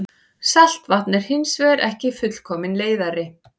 Saltvatn er hins vegar ekki fullkominn leiðari.